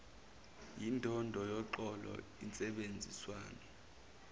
yindondo yoxolo insebenziswano